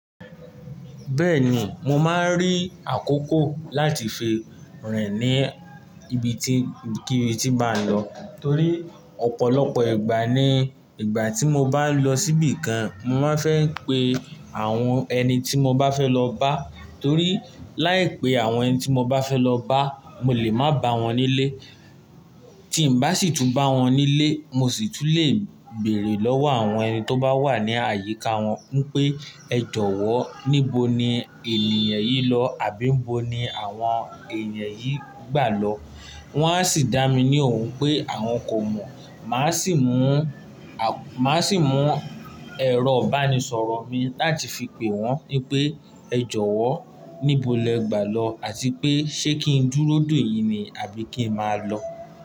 Bẹ́ẹ̀ni, mo máa ń rí àkókò láti fi rìn ní ibi tí ibikíbi tí n bá lọ. Torí ọ̀pọ̀lọpọ̀ ìgbà ni ìgbà tí mo bá lọ síbi kan, mo máa fẹ́ pe àwọn ẹni tí mo bá fẹ́ lọ bá. Torí láìpẹ́ àwọn ẹni tí mo bá fẹ́ lọ bá, mo lè má bá wọn nílé. Tí ń bá sì tún bá wọn nílé, mo sì tún lè béèrè lọ́wọ́ àwọn ẹni tó bá wà ní àyíká wọn wipé ẹ jọ̀wọ́ níbo ni ènìyàn yìí lọ àbí nibo ni àwọn ènìyàn yìí gbà lọ. Wọn a sì dá mi ní òhun pé àwọn kò mọ̀. Màá sì mú, màá sì mú ẹ̀rọ ìbánisọ̀rọ̀ mi láti fi pè wọ́n wipé ẹ jọ̀wọ́ níbo lẹ gbà lọ àti pé ṣe kí n dúró dèyín ní àbí kí n máa lọ?